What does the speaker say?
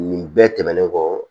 Nin bɛɛ tɛmɛnen kɔ